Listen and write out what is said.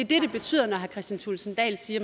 det betyder når herre kristian thulesen dahl siger